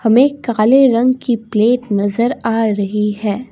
मे काले रंग की प्लेट नजर आ रही है।